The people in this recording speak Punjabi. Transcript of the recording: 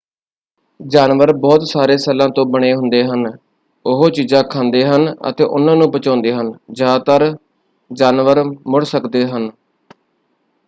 ਜਾਨਵਰ ਬਹੁਤ ਸਾਰੇ ਸੈੱਲਾਂ ਤੋਂ ਬਣੇ ਹੁੰਦੇ ਹਨ। ਉਹ ਚੀਜ਼ਾਂ ਖਾਂਦੇੇ ਹਨ ਅਤੇ ਉਹਨਾਂ ਨੂੰ ਪਚਾਉਂਦੇ ਹਨ। ਜ਼ਿਆਦਾਤਰ ਜਾਨਵਰ ਮੁੜ ਸਕਦੇ ਹਨ।